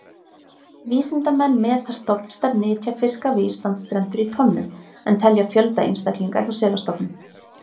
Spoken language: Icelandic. Vísindamenn meta stofnstærð nytjafiska við Íslandsstrendur í tonnum en telja fjölda einstaklinga hjá selastofnum.